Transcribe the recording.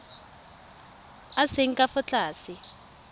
a seng ka fa tlase